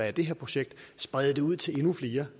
i det her projekt sprede det ud til endnu flere